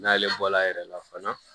N'ale bɔla a yɛrɛ la fana